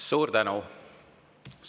Suur tänu!